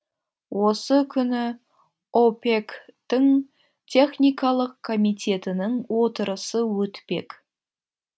осы күні опек тің техникалық комитетінің отырысы өтпек